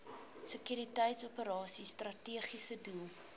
sekuriteitsoperasies strategiese doel